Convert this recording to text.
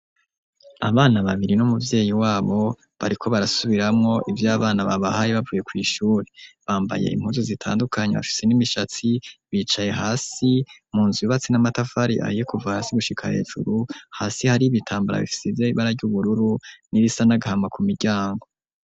Abana babiri n' umuvyeyi wabo bariko barasubiramwo ivyo abana babahaye bavuye kw'ishuri bambaye impuzu zitandukanye hashise n'imishatsi bicaye hasi mu nzu bibatsi n'amatafari aiye kuva hasi gushika hejuru hasi hari ibitambara fisize bara ry'ubururu n'irisa n'agahama ku miryango.